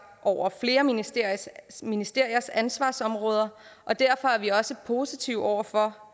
over flere ministeriers ministeriers ansvarsområder og derfor er vi også positive over for